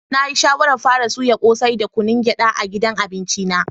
Na yi shawaran fara soyan kose da yin kunun geda a gidan abinci na.